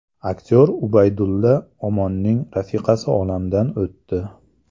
Aktyor Ubaydulla Omonning rafiqasi olamdan o‘tdi.